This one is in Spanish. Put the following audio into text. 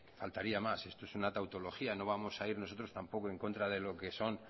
faltaría más esto es una tautología no vamos a ir nosotros tampoco en contra de lo que son